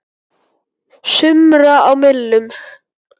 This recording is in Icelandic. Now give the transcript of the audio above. sumra á millum.